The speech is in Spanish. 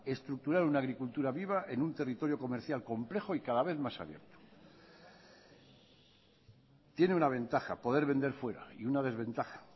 estructurar una agricultura viva en un territorio comercial complejo y cada vez más abierto tiene una ventaja poder vender fuera y una desventaja